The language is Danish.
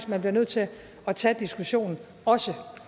man bliver nødt til at tage diskussionen også